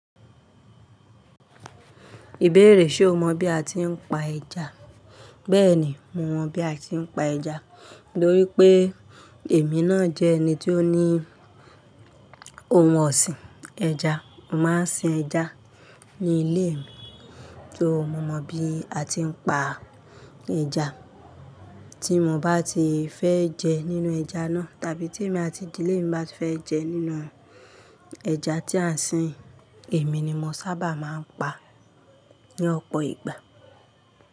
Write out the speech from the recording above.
Ìbéèrè ṣe o mọ̀ bí a ti ń pa ẹja? Bẹ́ẹ̀ni mo mọ̀ bí a ti ń pa ẹja, nítorí pé èmi náà jẹ́ ẹni tí ó ní ohun ọ̀sìn ẹja. Mo máa ń sin ẹja ní ilé mi, so mo mọ̀ bí a ti ń pa ẹja. Tí mo bá ti fẹ́ jẹ nínú ẹja náà, tàbí tí èmi àti ìdílé mi bá fẹ́ jẹ nínú ẹja tí à ń sin, èmi ni mo sábà máa ń pa ní ọ̀pọ̀ ìgbà.